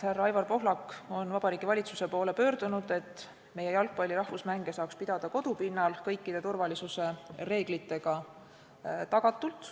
Tean, et Aivar Pohlak on Vabariigi Valitsuse poole pöördunud, et jalgpalli rahvusmänge saaks pidada kodupinnal ja turvaliselt.